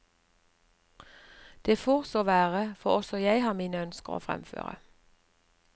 Det får så være, for også jeg har mine ønsker å fremføre.